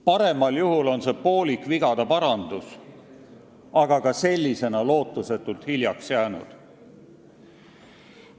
Paremal juhul on see poolik vigade parandus, aga ka sellisena on see lootusetult hiljaks jäänud.